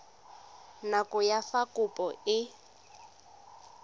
nako ya fa kopo e